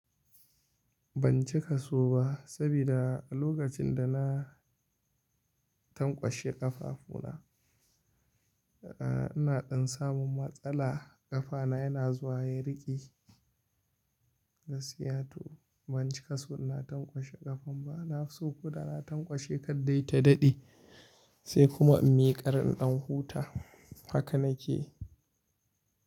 Ban cika so ba sabida lokacin da na tankwashe ƙafafu na, ina ɗan samun matsala ƙafa na yana zuwa ya riƙe Gaskiya to ban cika so na tankwashe ƙafa ba. Na fi so ko da na tankwashe kadai ta daɗe sai kuma in miƙar in ɗan huta. Haka na ke.